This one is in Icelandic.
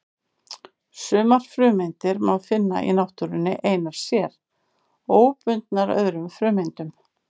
Sumar frumeindir má finna í náttúrunni einar sér, óbundnar öðrum frumeindum.